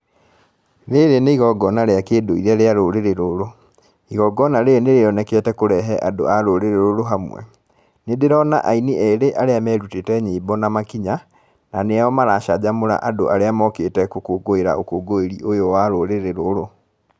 Rĩrĩ nĩ igongona rĩa kĩndũire rĩa rũrĩrĩ rũrũ, igongona rĩrĩ nĩ rĩonekete kũrehe andũ a rũrĩrĩ rũrũ hamwe, nĩ ndĩrona aini erĩ arĩa merutĩte nyĩmbo na makinya na nĩo maracanjamũra andũ arĩa mokĩte gũkũngũira ũkũngũĩri ũyũ wa rũrĩrĩ rũrũ.